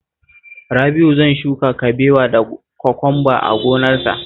Rabi'u zan shuka kabewa da kwakwamba a lambunsa